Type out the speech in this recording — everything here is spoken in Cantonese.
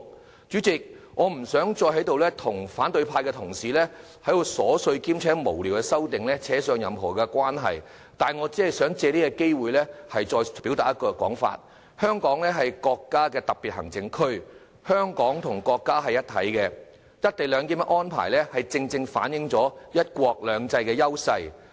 代理主席，我不想再與反對派的同事糾纏，跟這些瑣碎無聊的修正案扯上任何關係，只想藉此機會表達一個信息：香港是國家的特別行政區，香港和國家是一體的，"一地兩檢"安排正正反映了"一國兩制"的優勢。